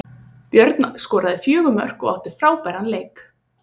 Björn skoraði fjögur mörk og átti frábæran leik.